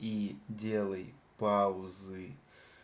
ии делай паузы